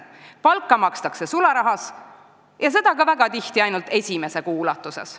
Palka makstakse sularahas ja sedagi sageli ainult esimese kuu eest.